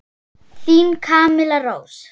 Þín Camilla Rós.